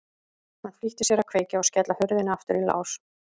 Hann flýtti sér að kveikja og skella hurðinni aftur í lás.